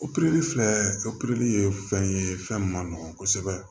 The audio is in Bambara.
Opereli filɛ opereli ye fɛn ye fɛn min ma nɔgɔn kosɛbɛ